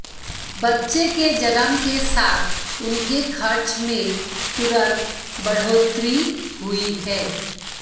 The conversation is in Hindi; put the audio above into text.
बच्चे के जन्म के साथ उनके खर्च में तुरंत बढ़ोतरी हुई है